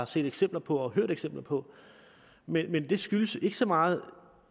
set eksempler på og hørt eksempler på men det skyldes ikke så meget